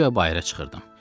Guya bayıra çıxırdım.